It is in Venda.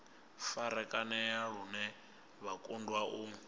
farakanea lune vha kundwa u